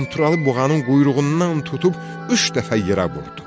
Qanturalı buğanın quyruğundan tutub üç dəfə yerə vurdu.